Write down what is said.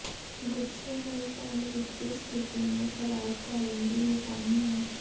ਗੁੱਝੇ ਹੋਏ ਫ਼ਲ ਵਿੱਤੀ ਸਥਿਤੀ ਨੂੰ ਖਰਾਬ ਕਰਨ ਦੀ ਨਿਸ਼ਾਨੀ ਹੈ